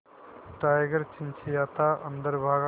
tiger चिंचिंयाता अंदर भागा